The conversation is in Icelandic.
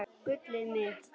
Gullið mitt!